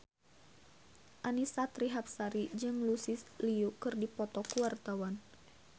Annisa Trihapsari jeung Lucy Liu keur dipoto ku wartawan